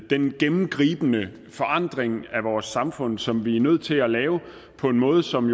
den gennemgribende forandring af vores samfund som vi er nødt til at lave på en måde som